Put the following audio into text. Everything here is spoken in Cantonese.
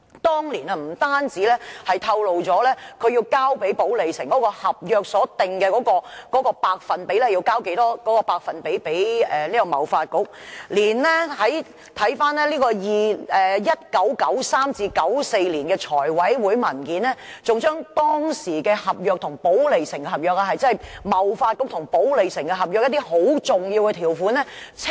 當年不單透露了批予寶利城的合約訂明要把收入的多少百分比交給貿發局，回看 1993-1994 年度財務委員會的文件，當時還清楚列出貿發局與寶利城的合約中一些很重要的條款。